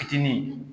Fitinin